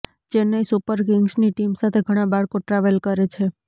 Chennai super કિંગ્સની team સાથે ઘણા બાળકો ટ્રાવેલ કરે છે